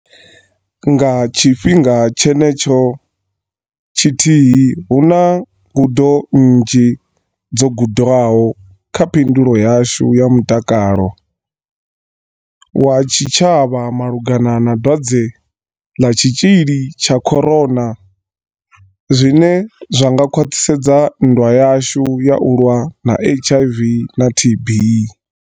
Nga tshifhinga tshenetsho tshithihi, huna ngudo nnzhi dzo gudwaho kha phindulo yashu ya mutakalo wa tshi tshavha malugana na dwadze ḽa tshi tzhili tsha corona zwine zwa nga khwaṱhisedza nndwa yashu ya u lwa na HIV na TB.